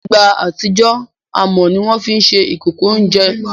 nígbà àtijọ́, amọ̀ ni wọ́n fi ń ṣe ìkòkò oúnjẹ